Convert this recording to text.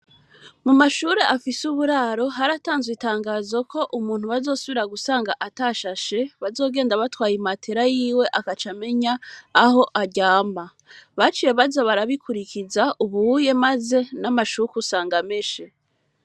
Mu mashure afise uburaro hari atanzwe itangazo ko umuntu bazosubira gusanga ata shashe bazogenda batwaye i matera yiwe akaca amenya aho aryamba baciye baza barabikurikiza ubuye, maze n'amashuku usanga ameshe.